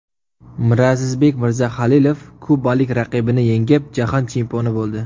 Mirazizbek Mirzahalilov kubalik raqibini yengib, Jahon chempioni bo‘ldi.